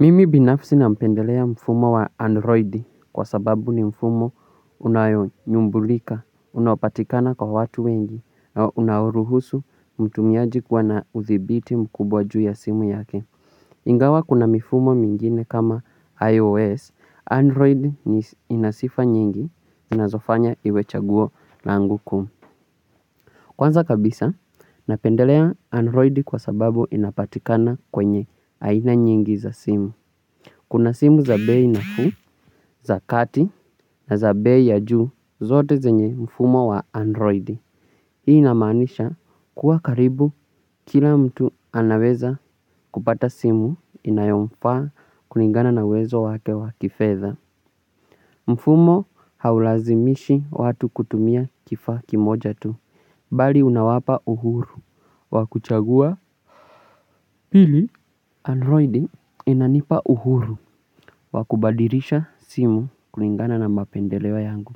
Mimi binafsi nampendelea mfumo wa Android kwa sababu ni mfumo unayo nyumbulika, unapatikana kwa watu wengi, na unaoruhusu mtumiaji kuwa na uthibiti mkubwa juu ya simu yake. Ingawa kuna mifumo mingine kama iOS, Android ni ina sifa nyingi, inazofanya iwe chaguo langu kuu. Kwanza kabisa, napendelea Android kwa sababu inapatikana kwenye aina nyingi za simu. Kuna simu za bei nafuu, za kati na za bei ya juu, zote zenye mfumo wa androidi. Hii inamaanisha kuwa karibu kila mtu anaweza kupata simu inayomfaa kulingana na uwezo wake wa kifedha. Mfumo haulazimishi watu kutumia kifaa kimoja tu, bali unawapa uhuru wa kuchagua pili. Android inanipa uhuru wa kubadirisha simu kulingana na maendeleo yangu.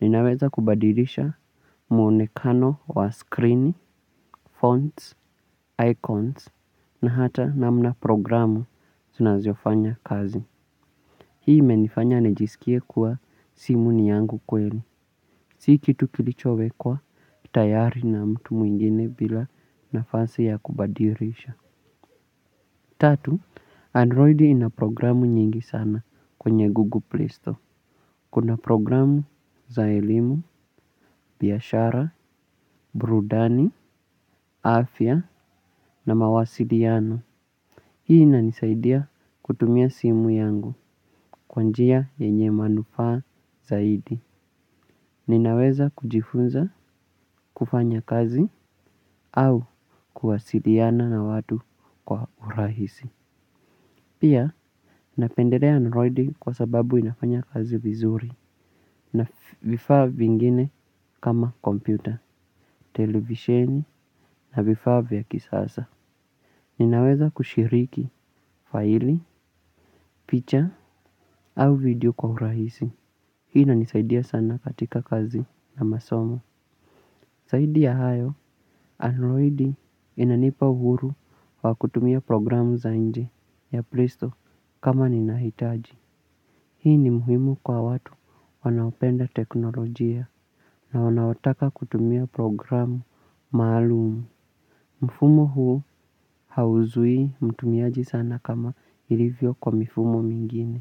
Ninaweza kubadilisha mwonekano wa screen, fonts, icons, na hata namna programu zinavyofanya kazi. Hii imenifanya nijiskie kuwa simu ni yangu kweli. Si kitu kilichowekwa tayari na mtu mwingine bila nafasi ya kubadilisha. Tatu, Android ina programu nyingi sana kwenye Google Play Store. Kuna programu za elimu, biashara, burudani, afya na mawasiliano. Hii inanisaidia kutumia simu yangu kwa njia yenye manufaa zaidi. Ninaweza kujifunza kufanya kazi au kuwasiliana na watu kwa urahisi. Pia, napendelea Android kwa sababu inafanya kazi vizuri na vifaa vingine kama kompyuta, televisheni na vifaa vya kisasa. Ninaweza kushiriki faili, picha au video kwa uraisi. Hii inanisaidia sana katika kazi na masomo. Zaidia ya hayo, Android inanipa uhuru kwa kutumia programu za nje ya Playstore kama ninahitaji. Hii ni muhimu kwa watu wanaopenda teknolojia na wanaotaka kutumia programu maalumu. Mfumo huu hauzuii mtumiaji sana kama ilivyo kwa mifumo mingine.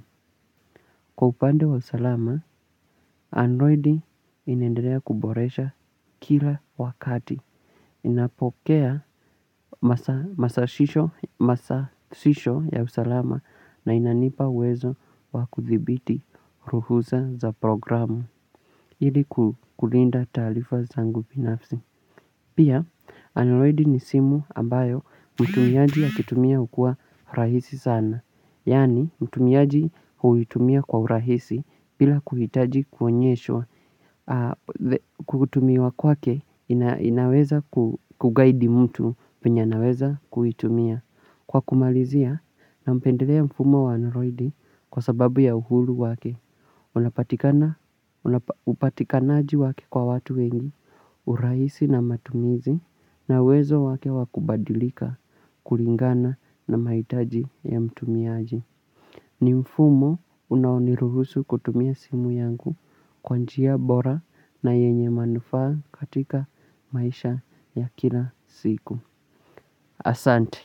Kwa upande wa usalama, Android inendelea kuboresha kila wakati. Inapokea masashisho ya usalama na inanipa uwezo wa kuthibiti ruhusa za programu ili kulinda taarifa zangu binafsi. Pia, android ni simu ambayo mtumiaji akitumia hukua rahisi sana. Yaani, mtumiaji huitumia kwa urahisi bila kuhitaji kuonyeshwa. Kutumiwa kwake inaweza kuguide mtu venye anaweza kuitumia. Kwa kumalizia napendelea mfumo wa android kwa sababu ya uhuru wake. Unapatikanaji wake kwa watu wengi urahisi na matumizi na uwezo wake wa kubadilika kulingana na mahitaji ya mtumiaji ni mfumo unaoniruhusu kutumia simu yangu. Kwa njia bora na yenye manufaa katika maisha ya kila siku. Asante.